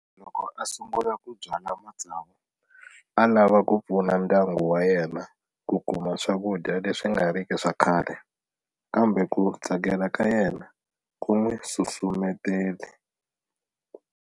Loko a sungula ku byala matsavu a lava ku pfuna ndyangu wa yena ku kuma swakudya leswi nga riki swa khale, kambe ku tsakela ka yena ku n'wi susumetele.